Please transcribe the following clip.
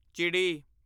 ਚਿੜੀ